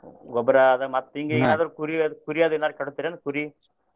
ಗೊಬ್ರ ಅದ ಮತ್ತ ಹಿಂಗೆ ಏನಾದ್ರೂ ಕುರಿ ಅದು ಕುರಿ ಅದು ಏನಾರ ಕಡುತ್ರೇನು ಕುರಿ?